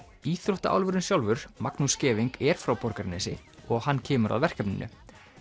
íþróttaálfurinn sjálfur Magnús Scheving er frá Borgarnesi og hann kemur að verkefninu